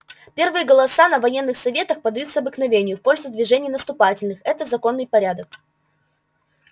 первые голоса на военных советах подаются обыкновению в пользу движений наступательных это законный порядок